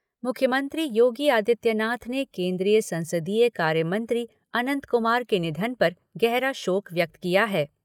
मुख्यमंत्री योगी आदित्यनाथ ने केन्द्रीय संसदीय कार्यमंत्री अनंत कुमार के निधन पर गहरा शोक व्यक्त किया है।